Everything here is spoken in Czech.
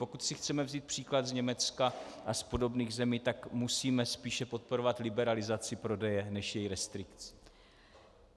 Pokud si chceme vzít příklad z Německa a z podobných zemí, tak musíme spíše podporovat liberalizaci prodeje než její restrikci.